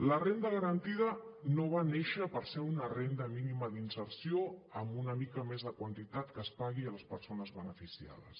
la renda garantida no va néixer per ser una renda mínima d’inserció amb una mica més de quantitat que es pagui a les persones beneficiades